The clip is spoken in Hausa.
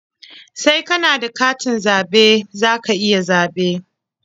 Sai ka na da katin zaɓe za ka iya zaɓe.